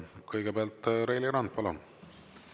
Kõigepealt Reili Rand, palun!